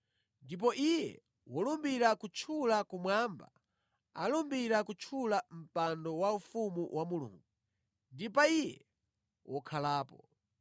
Ndipo iye wolumbira kutchula kumwamba alumbira kutchula mpando waufumu wa Mulungu ndi pa Iye wokhalapo.